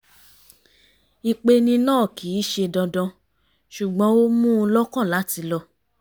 ìpeni náà kì í ṣe dandan ṣùgbọ́n ó mú un lọ́kàn láti lọ